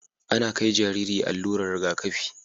Ana kai jariri allurar Riga kafi